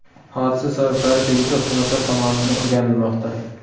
Hodisa sabablari tegishli xizmatlar tomonidan o‘rganilmoqda.